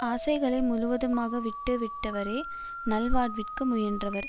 ஆசைகளை முழுவதுமாக விட்டு விட்டவரே நல்வாழ்விற்கு முயன்றவர்